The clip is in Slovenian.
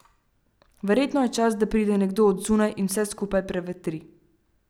Verjetno je čas, da pride nekdo od zunaj in vse skupaj prevetri.